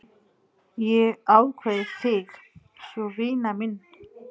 Ég kveð þig svo vina mín.